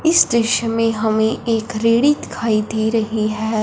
इस दृश्य में हमें एक रेड़ी दिखाई दे रही है।